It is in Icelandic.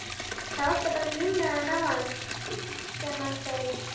Það vantar bara límmiðann á hann sem segir